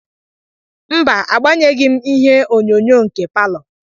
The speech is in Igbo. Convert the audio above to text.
Mba, agbanyụghị m ihe onyonyo nke palọ.